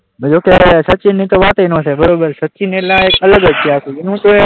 ત્યારે સચિનની તો વાત જ ના થાય બરાબર સચિન એટલે એક અલગ છે આખું,